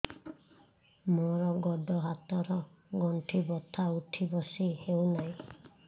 ମୋର ଗୋଡ଼ ହାତ ର ଗଣ୍ଠି ବଥା ଉଠି ବସି ହେଉନାହିଁ